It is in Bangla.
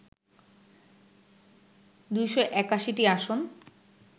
২৮১টি আসন